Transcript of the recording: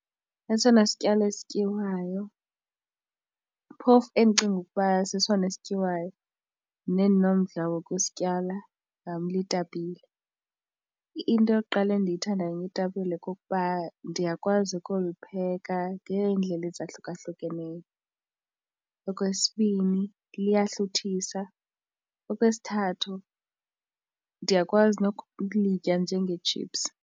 Esona sityalo sityiwayo phofu endicinga ukuba sesona esityiwayo nendinomdla wokusityala itapile. Into yokuqala endiyithandayo ngeetapile kukuba ndiyakwazi ukulipheka ngeendlela ezahlukahlukeneyo. Okwesibini, liyahluthisa, okwesithathu ndiyakwazi nokulitya njengeetshipsu,